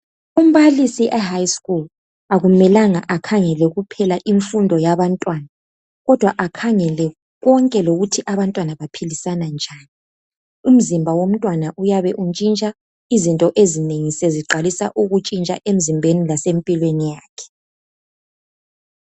Umbalisi e"high school " akumelanga akhangele kuphela imfundo yabantwana kodwa akhangele konke lokuthi abantwana baphilisana njani umzimba womntwana uyabe utshintsha izinto ezinengi seziqalisa ukutshintsha emzimbeni lase mpilweni yakhe.